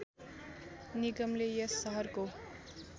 निगमले यस सहरको